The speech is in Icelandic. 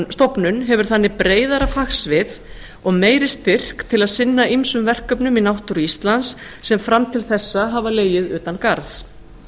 stofnun hefur þannig breiðara fagsvið og meiri styrk til að sinna ýmsum verkefnum í náttúru íslands sem fram til þessa hafa legið utangarðs